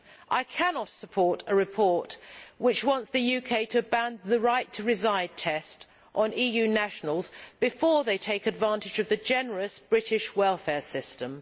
I cannot support a report which wants the UK to ban the right to reside test on EU nationals before they take advantage of the generous British welfare system.